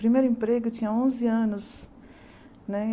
Primeiro emprego eu tinha onze anos né.